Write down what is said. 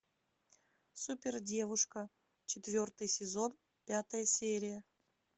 супердевушка четвертый сезон пятая серия